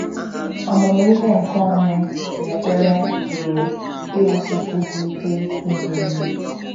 Ọmụmụ ihe nke onwe na ekpere pụrụ iwusikwu gị ike ime ihe